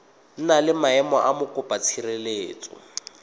na le maemo a mokopatshireletso